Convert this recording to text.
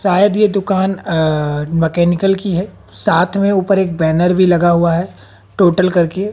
शायद ये दुकान अं मैकेनिकल की है साथ में ऊपर एक बैनर भी लगा हुआ है टोटल कर के।